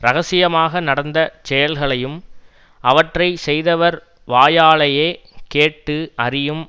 ரகசியமாக நடந்த செயல்களையும் அவற்றை செய்தவர் வாயாலேயே கேட்டு அறியும்